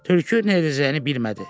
Tülkü nə edəcəyini bilmədi.